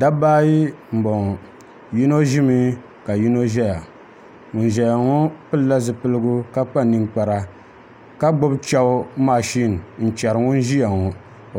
Dabba ayi n boŋo yino ʒimi ka yino ʒɛya ŋun ʒɛya ŋo pilila zipiligu ka kpa ninkpara ka gbubi chɛbu mashin n chɛri ŋun ʒiya ŋo